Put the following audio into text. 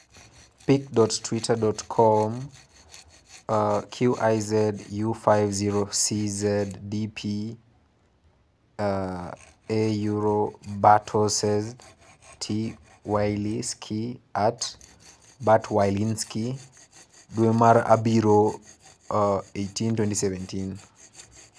pic.twitter.com/QizU5OCZdp — Bartosz T. WieliĹ„ski (@Bart_Wielinski) dwe mar abirio 18, 2017